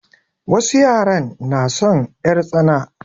Wasu yaran na son 'yartsana.